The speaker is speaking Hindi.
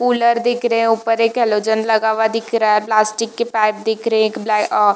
कुलर दिख रहे हैऊपर एक हैलोजन लगा हुआ दिख रहा हैप्लास्टिक की पाइप दिख रहे है एक ब्लै--